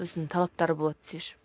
өзінің талаптары болады десеңші